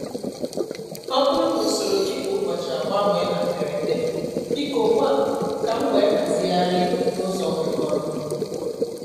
Ọ bụrụ na usoro gị kwa ụbọchị agbanwe na mberede, biko gwa m ka m wee hazigharị n'ụzọ kwekọrọ.